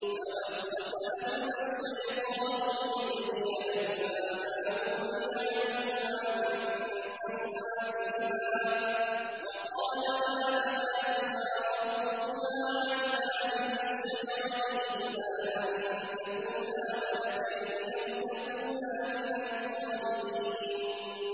فَوَسْوَسَ لَهُمَا الشَّيْطَانُ لِيُبْدِيَ لَهُمَا مَا وُورِيَ عَنْهُمَا مِن سَوْآتِهِمَا وَقَالَ مَا نَهَاكُمَا رَبُّكُمَا عَنْ هَٰذِهِ الشَّجَرَةِ إِلَّا أَن تَكُونَا مَلَكَيْنِ أَوْ تَكُونَا مِنَ الْخَالِدِينَ